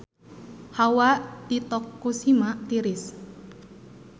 Hawa di Tokushima tiris